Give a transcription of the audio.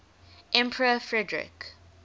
emperor frederick